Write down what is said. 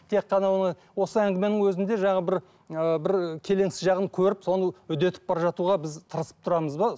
тек қана оны осы әңгіменің өзінде жаңағы бір ыыы бір ы келеңсіз жағын көріп соны үдетіп бара жатуға біз тырысып тұрамыз ба